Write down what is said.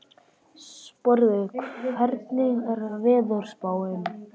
Sporði, hvernig er veðurspáin?